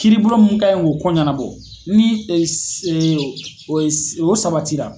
Kiribɔla mun kan ye ko koɲanabɔ ni e se o ye o sabatira.